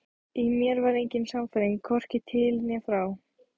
Í mér var engin sannfæring, hvorki til né frá.